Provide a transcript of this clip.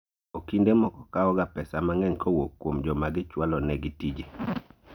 Okinde moko kao ga pesa mang'eny kowuok kuom joma gichwalo ne gi tije